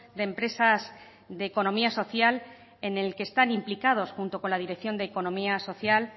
de empresas de economía social en el que están implicados junto con la dirección de economía social